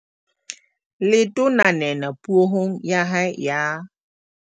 Letona Nene Puong ya hae ya